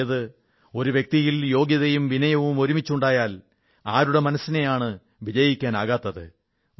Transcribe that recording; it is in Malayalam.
അതായത് ഒരു വ്യക്തിയിൽ യോഗ്യതയും വിനയവും ഒരുമിച്ചുണ്ടായാൽ ആരുടെ മനസ്സിനെയാണ് വിജയിക്കാനാകാത്തത്